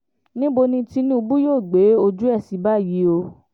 níbo ni tinubu yóò gbé ojú ẹ̀ sí báyìí o